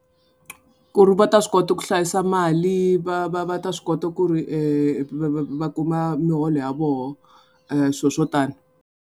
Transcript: Ku ri va ta swi kota ku hlayisa mali va va va ta swi kota ku ri va kuma muholo ya vona swilo swo tani.